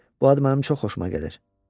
Bu ad mənə çox xoşuma gəldi.